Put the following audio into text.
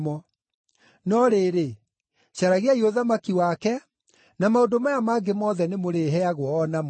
No rĩrĩ, caragiai ũthamaki wake, na maũndũ maya mangĩ mothe nĩmũrĩheagwo o namo.